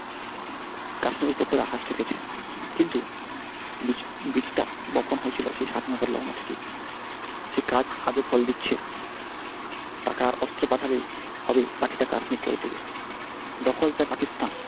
কিন্তু সেই স্বাধীনতা লগ্ন থেকেই সেই কাজ আজও ফল দিচ্ছে বাকিটা কাশ্মীর করে দিবে দখল যা পাকিস্তান,